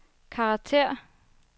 karakter